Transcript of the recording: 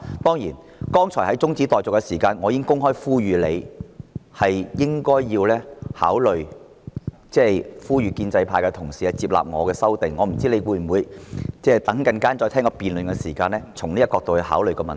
當然，剛才在辯論中止待續議案時，我已經公開呼籲局長考慮呼籲建制派同事接納我的修訂議案，我不知道稍後他在聆聽辯論時，會否從這個角度考慮問題？